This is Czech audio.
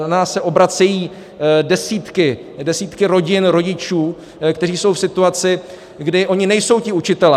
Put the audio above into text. Na nás se obracejí desítky rodin, rodičů, kteří jsou v situaci, kdy oni nejsou ti učitelé.